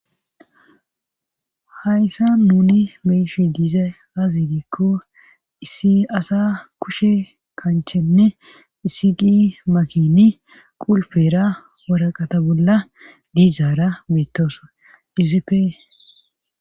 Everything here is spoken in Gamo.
Hayssa nuni be'eshe diiza aazi diikko issi asa kushe kanchenne isi di makini qulpera waraqata bolla diizaara beettoso yizipe.